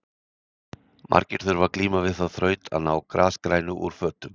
Margir þurfa að glíma við þá þraut að ná grasgrænu úr fötum.